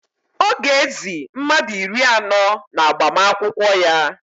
Ọ ga-ézī mmadụ iri anọ n'agbamakwụkwọ ya